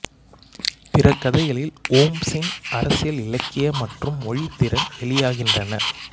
பிற கதைகளில் ஓம்சின் அரசியல் இலக்கிய மற்றும் மொழித்திறன் வெளியாகின்றன